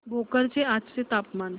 भोकर चे आजचे तापमान